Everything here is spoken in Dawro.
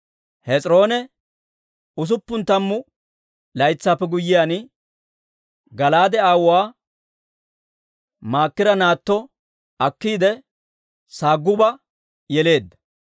Hes'iroone usuppun tammu laytsaappe guyyiyaan, Gala'aade aawuwaa Maakira naatto akkiide, Saguba yeleedda.